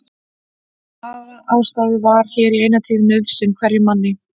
Að hafa ástæðu var hér í eina tíð nauðsyn hverjum manni.